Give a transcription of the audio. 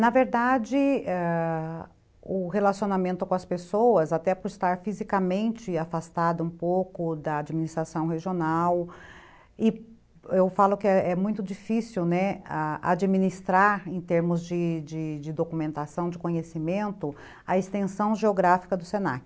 na verdade ãh o relacionamento com as pessoas até por estar fisicamente afastado um pouco da administração regional e eu falo que é muito difícil , né, a administrar em termos de de documentação de conhecimento a extensão geográfica do se na que